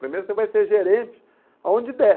Primeiro você vai ser gerente aonde der.